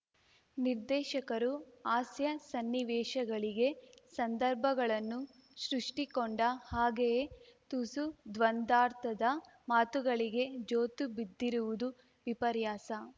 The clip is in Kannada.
ನಿರ್ದೇಶಕರು ಹಾಸ್ಯ ಸನ್ನಿವೇಶಗಳಿಗೆ ಸಂದರ್ಭಗಳನ್ನು ಸೃಷ್ಟಿಕೊಂಡ ಹಾಗೆಯೇ ತುಸು ದ್ವಂದ್ವಾರ್ಥದ ಮಾತುಗಳಿಗೆ ಜೋತು ಬಿದ್ದಿರುವುದು ವಿಪರ್ಯಾಸ